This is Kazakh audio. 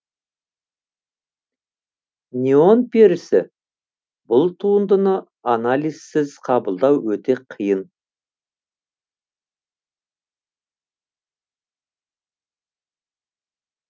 неон перісі бұл туындыны анализсіз қабылдау өте қиын